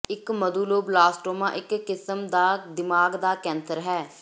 ਇਕ ਮਧੁੱਲੋਬਲਾਸਟੋਮਾ ਇਕ ਕਿਸਮ ਦਾ ਦਿਮਾਗ ਦਾ ਕੈਂਸਰ ਹੈ